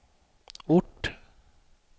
ort